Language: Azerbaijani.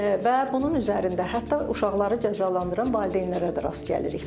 və bunun üzərində hətta uşaqları cəzalandıran valideynlərə də rast gəlirik biz.